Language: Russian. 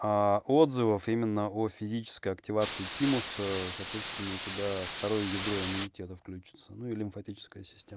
отзывов именно о физической активации тимуса соответственно у тебя второе ядро иммунитета включаться ну и лимфатическая система